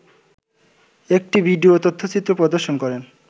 একটি ভিডিও তথ্যচিত্র প্রদর্শন করেন